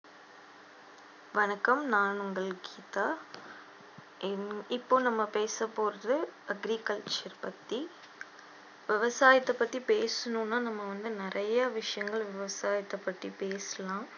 வணக்கம் நான் உங்கள் கீதா இப்போ நம்ம பேசப்போறது agriculture பற்றி விவசாயத்தைை பற்றி பேசணும்னா நம்ம வந்து நிறைய விஷயங்கள் விவசாயத்தைை பற்றி பேசலாம்